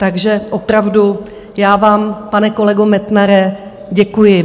Takže opravdu, já vám, pane kolego Metnare, děkuji.